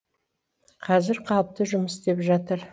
қазір қалыпты жұмыс істеп жатыр